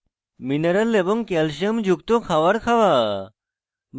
মিনরল এবং ক্যালসিয়াম যুক্ত খাওয়ার খাওয়া